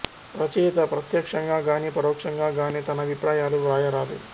రచయిత ప్రత్యక్షంగా గానీ పరోక్షంగా గానీ తన అభిప్రాయాలు వ్రాయరాదు